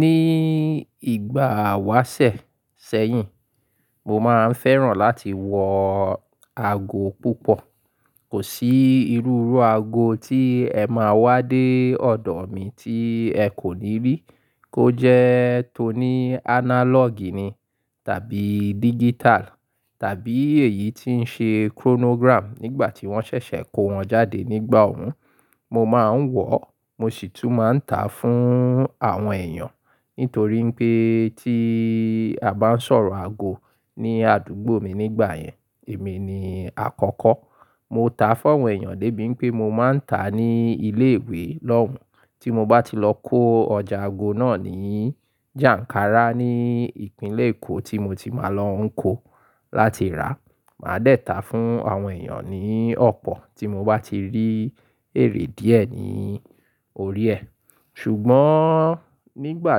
Ní ìgbà àwáṣẹ̀ sẹ́yìn, mo máa ń fẹ́ràn láti wọ aago púpọ̀. Kò sí irú irú aago tí ẹ máa wá dé ọ̀dọ̀ mi tí ẹ kò ní rí. Kó jẹ́ tó ní analog ni tàbí digital tàbí èyí tí ń ṣe chronogram nígbà tí wọ́n ṣẹ̀ṣẹ̀ kó wọn jáde nígbà òun. Mo máa ń wọ̀, mo sì tún máa ń tà fún àwọn èyàn nítorí pé tí a bá ń sọ̀rọ̀ aago ní àdúgbò mi nígbà yẹn, èmi ni àkọ́kọ́. Mo tàá fún àwọn èèyàn débi pé mo máa ń tàá ní ilé ìwé lọ́hun. Tí mo bá ti lọ kó ọjà aago náà ní jànkárà ní ìpínlẹ̀ Èkó tí mo ti máa lọ ń kó láti rà, màá dẹ̀ tàá fún àwọn èyàn ní ọ̀pọ̀ tí mo bá ti rí èrè díẹ̀ ní orí ẹ. Ṣùgbọ́n nígbà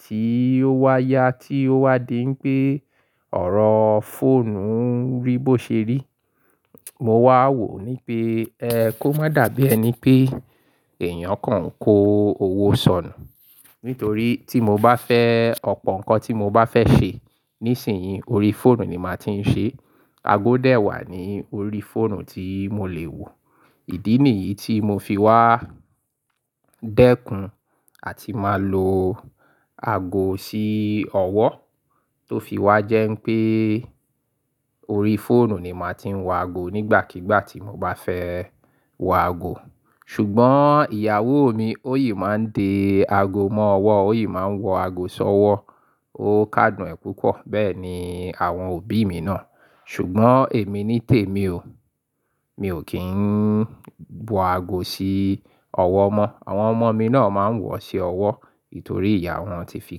tí ó wá yá tí ó wá di n pé ọ̀rọ̀ fóònù ń rí bó ṣe rí, mo wá wò ní pé ẹ kó má dàbí ẹni pé èyàn kan ń kó owó sọnù. Nítorí tí mo bá fẹ́ ọ̀pọ̀ nǹkan tí mo bá fẹ́ ṣe níṣinyìí, orí fóònù ni màá ti ń ṣe. Aago dẹ̀ wà ní orí fóònù tí mo lè wò. Ìdí nìyí tí mo fi wá dẹ́kun àti máa lo ago sí ọwọ́ tó fi wá jẹ́ pé orí fóònù ni màá ti ń wọ ago nígbàkigbà tí mo bá fẹ́ wọ ago. Ṣùgbọ́n ìyàwó mi ó yìí máa ń de ago mọ́ ọwọ́, ó yìí máa ń wọ ago sọ́wọ́. Ó káadùn ẹ púpọ̀. Bẹ́ẹ̀ ni àwọn òbí mi náà. Ṣùgbọ́n èmi nítèmi o. Mi ò kí ń bo ago sí ọwọ́ mọ. Àwọn ọmọ mi náà máa ń wọ̀ ọ́ sí ọwọ́ nítorí ìyá wọn ti fi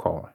kọ̀ wọn.